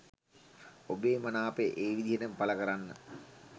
ඔබේ මනාපය ඒ විදිහටම පල කරන්න.